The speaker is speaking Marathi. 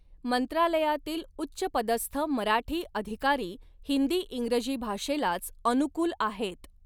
मंत्रालयातील उच्चपदस्थ मराठी अधिकारी हिन्दी इंग्रजी भाषेलाच अनुकूल आहेत.